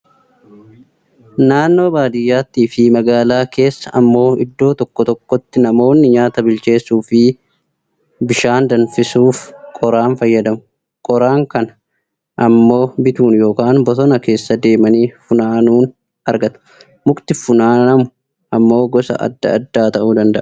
Naannoo baadiyyaattii fi magaalaa keessaa ammoo iddoo tokko tokkotti namoonni nyaata bilcheessuu fi bishaan danfisuuf qoraan fayyadamu. Qoraan kana ammoo bituun yookaan bosona keessa deemanii funaanuun argatu. Mukti funaanamu ammoo gosa adda addaa ta'uu danada'a.